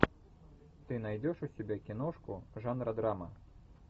ты найдешь у себя киношку жанра драма